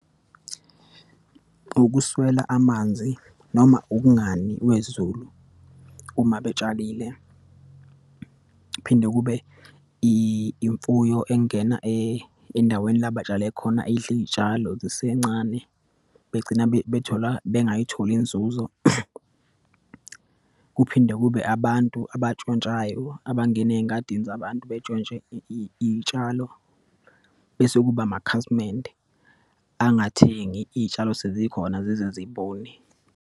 Ukuswela amanzi noma ukungani kwezulu uma betshalile. Kuphinde kube imfuyo engena endaweni la batshale khona, idle iyitshalo zisencane, begcina bethola, bengayitholi inzuzo. Kuphinde kube abantu abatshontshayo, abangena eyingadini zabantu betshontshe iyitshalo. Bese kube amakhasimende, angithengi iyitshalo sezikhona zize zibune.